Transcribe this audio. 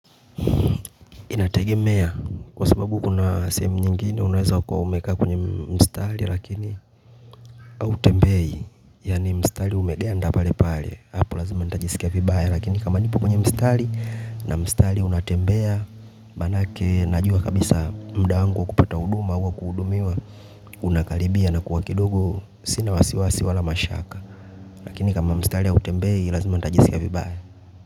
Inategemea, kwa sababu kuna sehemu nyingine, unaweza kua umekaa kwenye mstari lakini hutembei, yaani mstari umeganda pale pale, hapo lazima nitajisikia vibaya lakini kama nipo kwenye mstari na mstari unatembea, manake najua kabisa muda wangu wa kupata huduma au wa kuhudumiwa unakaribia nakuwa kidogo, sina wasiwasi wala mashaka lakini kama mstari hautembei, lazima nitajisikia vibaya.